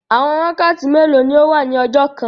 Àwọn wakàtí mẹ́lò ni ọ wà ní ọjọ́ kàn?